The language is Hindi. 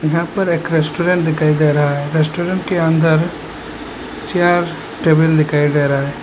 यहां पर एक रेस्टोरेंट दिखाई दे रहा है रेस्टोरेंट के अंदर चेयर टेबल दिखाई दे रहा है।